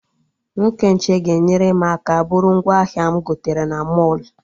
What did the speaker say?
Nwoke nche ga-enyere m aka bụrụ ngwaahịa m gotere na mọlụ